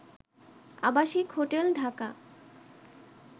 আবাসিক হোটেল ঢাকা